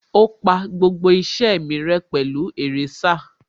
Ó pa gbogbo iṣẹ́ mi rẹ́ pẹ̀lú èrésà